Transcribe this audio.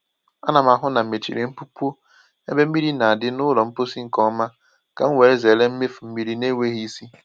Ana m ahụ na mechiri mpukpọ ébé mmiri na adi n’ụlọ mposi nke ọma ka m were zere imefu mmiri n'enweghị ịsị